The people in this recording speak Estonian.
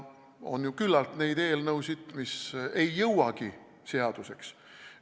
On ju küllalt neid eelnõusid, mis ei jõuagi seaduseks saada.